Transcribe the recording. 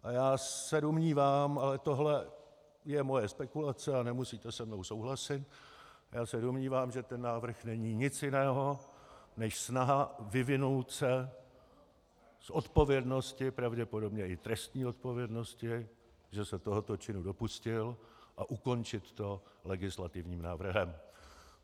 A já se domnívám, ale tohle je moje spekulace a nemusíte se mnou souhlasit, já se domnívám, že ten návrh není nic jiného než snaha vyvinout se z odpovědnosti, pravděpodobně i trestní odpovědnosti, že se tohoto činu dopustil, a ukončit to legislativním návrhem.